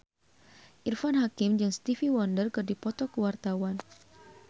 Irfan Hakim jeung Stevie Wonder keur dipoto ku wartawan